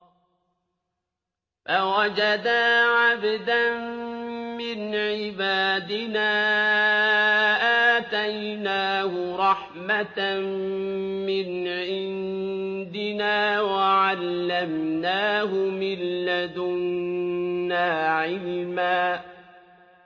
فَوَجَدَا عَبْدًا مِّنْ عِبَادِنَا آتَيْنَاهُ رَحْمَةً مِّنْ عِندِنَا وَعَلَّمْنَاهُ مِن لَّدُنَّا عِلْمًا